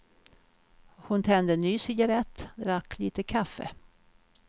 Hon tände en ny cigarrett, drack litet kaffe.